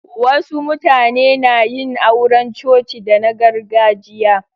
Wasu mutane na yin auran coci da na gargajiya.